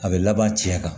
A bɛ laban cɛ kan